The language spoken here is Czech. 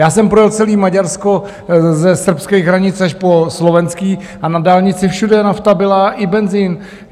Já jsem projel celé Maďarsko ze srbských hranic až po slovenské a na dálnici všude nafta byla i benzin.